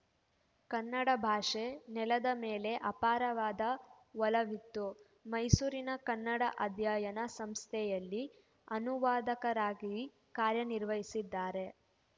ಕನ್ನಡ ಭಾಷೆ ನೆಲದ ಮೇಲೆ ಅಪಾರವಾದ ಒಲವಿತ್ತು ಮೈಸೂರಿನ ಕನ್ನಡ ಅಧ್ಯಯನ ಸಂಸ್ಥೆಯಲ್ಲಿ ಅನುವಾದಕರಾಗಿ ಕಾರ್ಯನಿರ್ವಹಿಸಿದ್ದಾರೆ